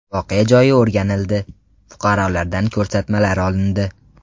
Voqea joyi o‘rganildi, fuqarolardan ko‘rsatmalar olindi.